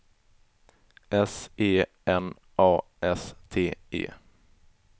S E N A S T E